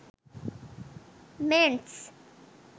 mens